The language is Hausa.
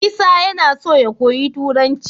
Isa yAna so ya koyi turanci